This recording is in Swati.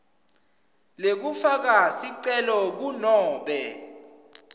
lekufaka sicelo kunobe